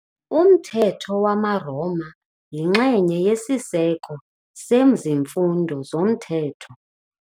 Umthetho wamaRoma yinxenye yesiseko sezifundo zomthetho.